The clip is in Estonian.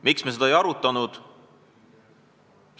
Miks me seda ei arutanud?